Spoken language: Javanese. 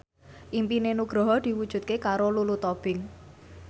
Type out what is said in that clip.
impine Nugroho diwujudke karo Lulu Tobing